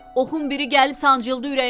Oxun biri gəlib sancıldı ürəyimə.